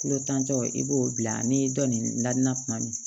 Kolo tan tɔ i b'o bila ni dɔ nin nadina tuma min